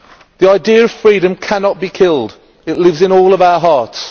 The idea of freedom cannot be killed. It lives in all of our hearts.